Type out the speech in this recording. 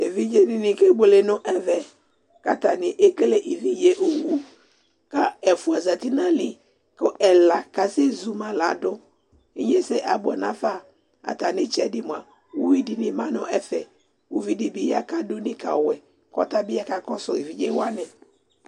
evidze di ni kebuele no ɛvɛ ko atani ekele evidze owu ko ɛfua zati n'ayili ko ɛla kasɛ zuma la do inyese aboɛ n'afa atami itsɛdi moa uwi di ni ma no ɛfɛ uvi di bi ya ko adu nika wɛ ko ɔtabi ya kakɔso evidze wani